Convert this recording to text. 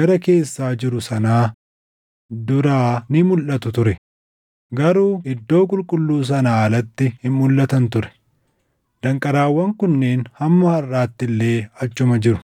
gara keessaa jiru sanaa duraa ni mulʼatu ture; garuu iddoo qulqulluu sanaa alatti hin mulʼatan ture; danqaraawwan kunneen hamma harʼaatti illee achuma jiru.